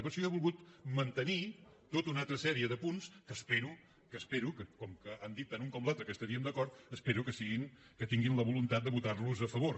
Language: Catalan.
i per això jo he volgut mantenir tota una altra sèrie de punts que espero com que han dit tant un com l’altre que hi estaríem d’acord que tinguin la voluntat de votar los a favor